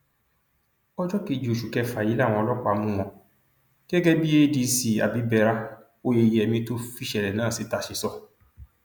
ọjọ kejì oṣù kẹfà yìí làwọn ọlọpàá mú wọn gẹgẹ bí adc abibera oyeyèmí tó fìṣẹlẹ náà síta ṣe sọ